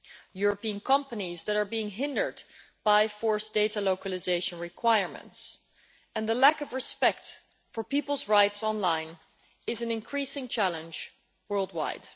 European companies that are being hindered by forced data localisation requirements and the lack of respect for people's rights online is an increasing challenge worldwide.